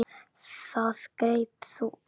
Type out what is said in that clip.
Það greip þau æði.